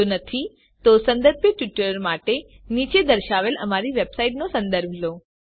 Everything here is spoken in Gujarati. જો નથી તો સંબંધિત ટ્યુટોરીયલ માટે નીચે દર્શાવેલ અમારી વેબસાઈટનો સંદર્ભ લો